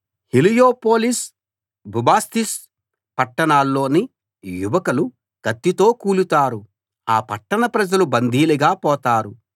Heliopolis Bubastis పట్టణాల్లోని యువకులు కత్తితో కూలుతారు ఆ పట్టణ ప్రజలు బందీలుగా పోతారు